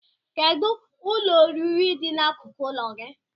Kedụ ụlọ oriri dị n'akụkụ ụlọ gị?